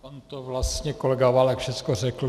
On to vlastně kolega Válek všechno řekl.